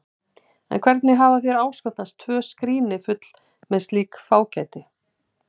Eða hvernig hafa þér áskotnast tvö skríni full með slíku fágæti?